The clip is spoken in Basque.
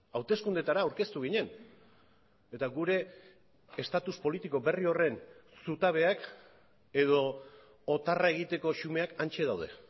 hauteskundeetara aurkeztu ginen eta gure estatus politiko berri horren zutabeak edo otarra egiteko xumeak hantze daude